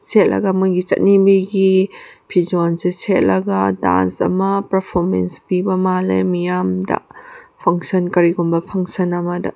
ꯁꯦꯠꯂꯒ ꯃꯣꯢꯒꯤ ꯆꯠꯅꯕꯤꯒꯤ ꯐꯤꯖꯣꯜꯁꯦ ꯁꯦꯠꯂꯒ ꯗꯑꯟ꯭ꯁ ꯑꯃ ꯄꯦꯔꯐꯣꯃꯦꯟ꯭ꯁ ꯄꯤꯕ ꯃꯜꯂꯦ ꯃꯤꯌꯝꯗ ꯐꯡꯁꯟ ꯀꯔꯤ ꯒꯨꯝꯕ ꯐꯡꯁꯟ ꯑꯃꯗ꯫